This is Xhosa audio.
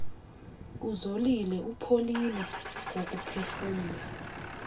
uzolile upholile ngokuphefumla